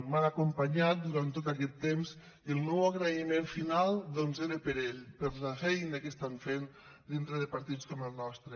m’han acompanyat durant tot aquest temps i el meu agraïment final doncs era per a ells per la feina que estan fent dintre de partits com el nostre